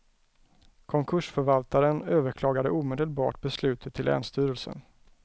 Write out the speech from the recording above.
Konkursförvaltaren överklagade omedelbart beslutet till länsstyrelsen.